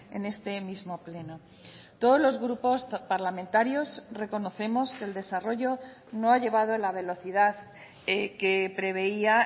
en este mismo pleno todos los grupos parlamentarios reconocemos que el desarrollo no ha llevado la velocidad que preveía